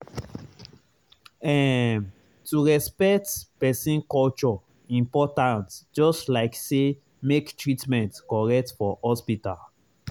ehm to respect person culture important just like say make treatment correct for hospital.